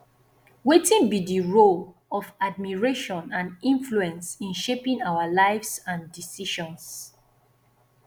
wetin be di role of admiration and influence in shaping our lives and decisions